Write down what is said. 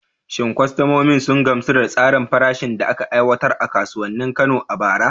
Shin kwastomomin sun gamsu da tsarin farashin da aka aiwatar a kasuwannin Kano a bara?